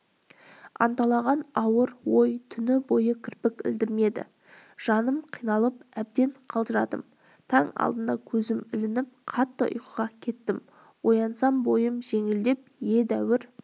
анталаған ауыр ой түні бойы кірпік ілдірмеді жаным қиналып әбден қалжырадым таң алдында көзім ілініп қатты ұйқыға кеттім оянсам бойым жеңілдеп едәуір